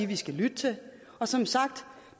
vi skal lytte til som sagt